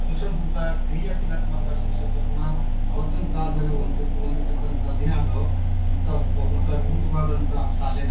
ಸುಸಂಸ್ಕೃತ ಕ್ರಿಯಾಶೀಲ ಶಿಕ್ಷಕರನ್ನ ಅವತ್ತಿನ ಕಾಲದಲ್ಲಿ ಹೊಂದಿ ಹೊಂದಿರತಕ್ಕಂತ ದಿನ ಅದು ಅಂತ ಅದ್ ಅದ್ಭುತವಾದಂತಹ ಶಾಲೆನ.